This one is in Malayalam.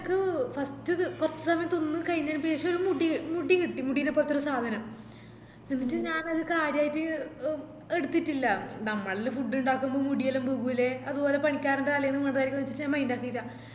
കൊർച് സമയം തിന്ന് കൈഞ്ഞെന്ശേഷം ഒര് മുടി മുടികിട്ടി മുടിനെ പോലത്തൊരു സാധനം ന്നീറ്റ് ഞാനത് കാര്യായിറ്റ് എ എടുത്തിറ്റില്ല നമ്മളെല്ലാം food ഇണ്ടാക്കുമ്പോ മുടി എല്ലാം വീകൂലെ അത്പോലെ പണിക്കാരൻറെ തലേന്ന് വീണതാരിക്കുന്ന്ചിറ്റ് ഞാൻ mind ആക്കില്ല